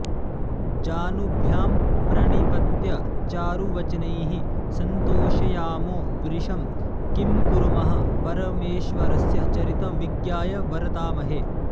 जानुभ्यां प्रणिपत्य चारुवचनैः सन्तोषयामो वृषं किं कुर्मः परमेश्वरस्य चरितं विज्ञाय वर्तामहे